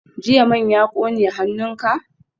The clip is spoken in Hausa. Jiya man ya kone hannunka?